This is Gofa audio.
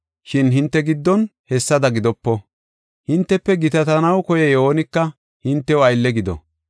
Shin hinte giddon hessada gidopo. Hintefe gitatanaw koyiya oonika hintew aylle gido.